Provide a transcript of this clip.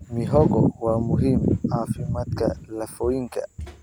Mihogo waa muhiim caafimaadka lafooyinka.